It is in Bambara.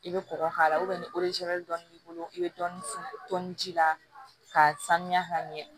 I bɛ kɔgɔ k'a la ni dɔɔni b'i bolo i bɛ dɔɔni ji la ka sanuya ka ɲɛ